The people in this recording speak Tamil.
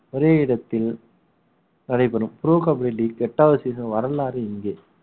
ஒரே இடத்தில் நடைபெறும் pro கபடி league எட்டாவது season வரலாறு இங்கே